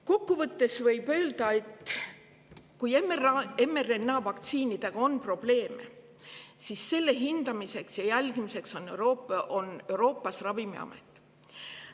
Kokku võttes võib öelda, et kui mRNA-vaktsiinidega on probleeme, siis nende hindamiseks ja jälgimiseks on Euroopa Ravimiamet.